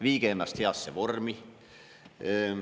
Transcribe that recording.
Viige ennast heasse vormi!